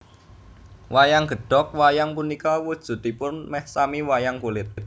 Wayang Gedhog Wayang punika wujudipun mèh sami wayang kulit